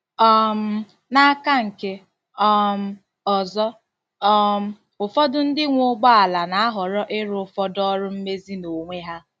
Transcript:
um N'aka nke um ọzọ, um ụfọdụ ndị nwe ụgbọ ala na-ahọrọ ịrụ ụfọdụ ọrụ mmezi n'onwe ha.